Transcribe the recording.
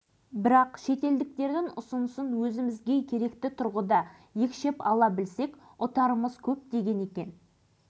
шетелдерде болғанымда бізбен іскерлік байланыстар орнатуға мүдделі іскер топ өкілдерін көптеп кездестірдім